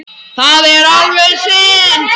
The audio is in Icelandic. Það er alveg synd